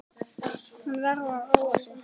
Hún verður að róa sig.